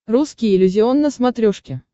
русский иллюзион на смотрешке